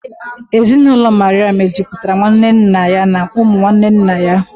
Ezinụlọ Maria mejupụtara nwanne nna ya na ụmụ nwanne nna ya